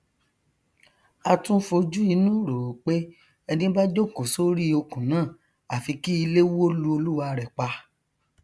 a tún fojú inú ròó pé ẹni bá jókòó sórí okùn náà àfi kí ilé wó lu olúwarẹ pa